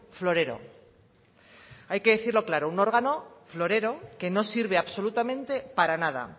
florero hay que decirlo claro un órgano florero que no sirve absolutamente para nada